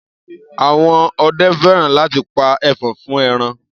Àwọn ọdẹ fẹ́ràn láti pa ẹfọ̀n fún ẹran.